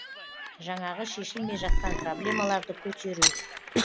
жаңағы шешілмей жатқан проблемаларды көтеру